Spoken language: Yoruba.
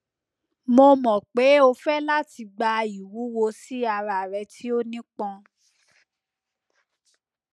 mo mọ pe o fẹ lati gba iwuwo si ara rẹ ti o nipọn